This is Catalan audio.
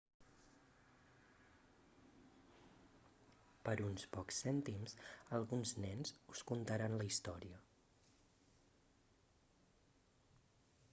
per uns pocs cèntims alguns nens us contaran la història